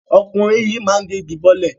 Ọkùnrin yìí máa gé igi bọ́lẹ̀.